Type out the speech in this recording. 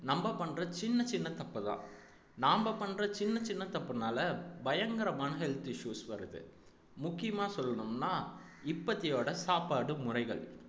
நம்ம பண்ற சின்ன சின்ன தப்புதான் நாம பண்ற சின்ன சின்ன தப்புனால பயங்கரமான health issues வருது முக்கியமா சொல்லணும்ன்னா இப்பத்தியோட சாப்பாடு முறைகள்